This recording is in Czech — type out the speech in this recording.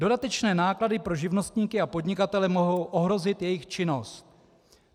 Dodatečné náklady pro živnostníky a podnikatele mohou ohrozit jejich činnost.